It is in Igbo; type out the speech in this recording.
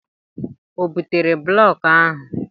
O butere blọkụ ahụ?